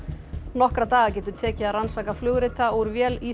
nokkra daga getur tekið að rannsaka flugrita úr vél